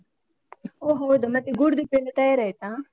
ಓ ಹೌದಾ ಮತ್ತೆ ಗೂಡುದೀಪ ಎಲ್ಲ ತಯಾರಾಯ್ತಾ?